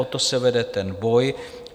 O to se vede ten boj.